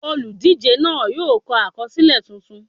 Olùdíje náà yóò kọ àkọsílẹ̀ tuntun.